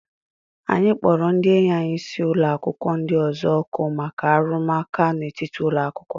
Anyị kpọrọ ndị enyi anyị si ụlọ akwụkwọ ndị ọzọ òkù maka arụmụka n'etiti ụlọ akwụkwọ.